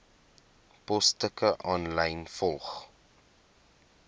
posstukke aanlyn volg